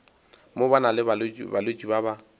mo na balwetši ba ba